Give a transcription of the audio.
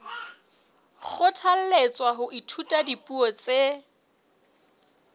kgothalletswa ho ithuta dipuo tse